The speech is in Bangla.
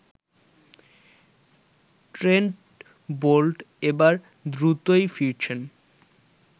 ট্রেন্ট বোল্ট এবার দ্রুতই ফিরেছেন